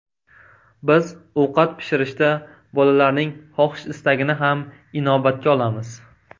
Biz ovqat pishirishda bolalarning xohish-istagini ham inobatga olamiz.